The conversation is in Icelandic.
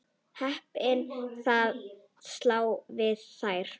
Heppin að sleppa við þær.